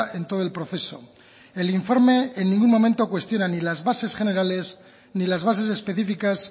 en todo el proceso el informe en ningún momento cuestiona ni las bases generales ni las bases específicas